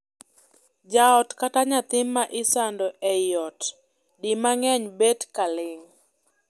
Jaot kata nyathi ma isando ei ot di mang’eny bet ka ling’.